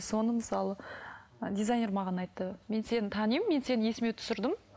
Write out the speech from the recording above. соны мысалы дизайнер маған айтты мен сені танимын мен сені есіме түсірдім